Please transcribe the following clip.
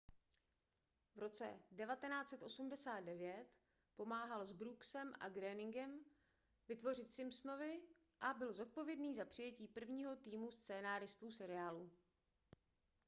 v roce 1989 pomáhal s brooksem a groeningem vytvořit simpsonovi a byl zodpovědný za přijetí prvního týmu scénáristů seriálu